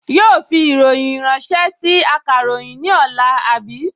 Yóò fi ìròyìn ránṣẹ́ sí akàròyìn ní ọ̀la, àbí?